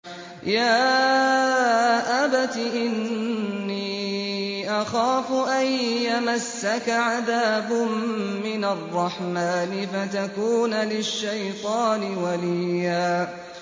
يَا أَبَتِ إِنِّي أَخَافُ أَن يَمَسَّكَ عَذَابٌ مِّنَ الرَّحْمَٰنِ فَتَكُونَ لِلشَّيْطَانِ وَلِيًّا